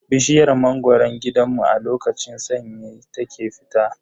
Bishiyar mangoron gidanmu a lokacin sanyi ta ke fita.